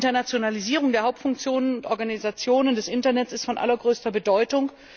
Die Internationalisierung der Hauptfunktionen und Organisationen des Internet ist von allergrößter Bedeutung.